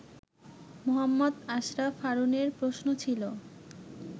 মোহাম্মদ আশরাফ হারুনের প্রশ্ন ছিল